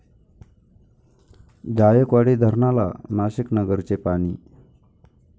जायकवाडी धरणाला नाशिक, नगरचे पाणी